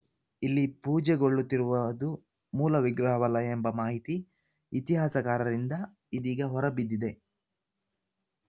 ಇಲ್ಲಿ ಪೂಜೆಗೊಳ್ಳುತ್ತಿರುವದು ಮೂಲ ವಿಗ್ರಹವಲ್ಲ ಎಂಬ ಮಾಹಿತಿ ಇತಿಹಾಸಕಾರರಿಂದ ಇದೀಗ ಹೊರಬಿದ್ದಿದೆ